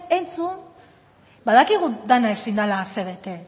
entzun badakigu dena ezin dela asebete